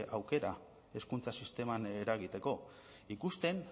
aukera hezkuntza sisteman eragiteko ikusten